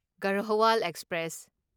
Garhwal express